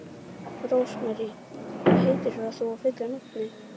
Rósmarý, hvað heitir þú fullu nafni?